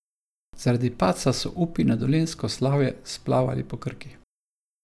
Zaradi padca so upi na dolenjsko slavje splavali po Krki.